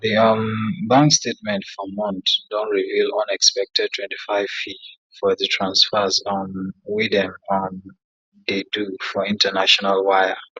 the um bank statement ffor month don reveal unexpected 25 fee for the transfers um wey dem um dey do for international wire